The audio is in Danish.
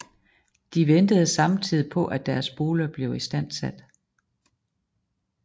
De ventede samtidig på at deres boliger blev istandsat